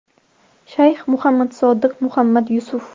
Shayx Muhammad Sodiq Muhammad Yusuf.